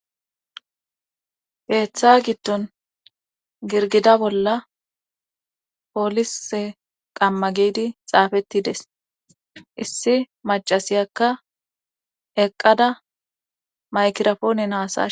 Keeththa giddon girgida bolla poolise qamma giidi xaafettides issi macasiyakka eqqada maykirafoone haasashe..